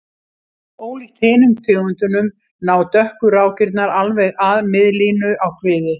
Ólíkt hinum tegundunum ná dökku rákirnar alveg að miðlínu á kviði.